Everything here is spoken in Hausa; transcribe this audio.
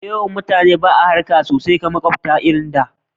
Da yawan mutane ba a harka sosai da makwabta kamar da